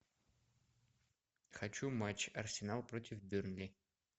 хочу матч арсенал против бернли